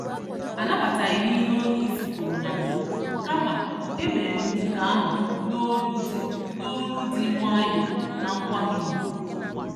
Anabataghịm ihe onyeisi kwùrù na mbụ, kama, emerem nke ahụ n'olu dị n'olu dị nwayọọ na nkwanye ùgwù